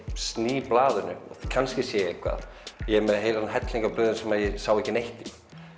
sný blaðinu kannski sé ég eitthvað ég er með helling af blöðum sem ég sá ekki neitt í